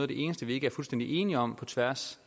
det eneste vi ikke er fuldstændig enige om på tværs